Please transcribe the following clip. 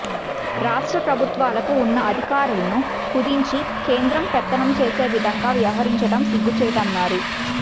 రాష్ట్ర ప్రభుత్వాలకు ఉన్న అధికారాలను కుదించి కేంద్రం పెత్తనం చేసే విధంగా వ్యవహరించడం సిగ్గుచేటన్నారు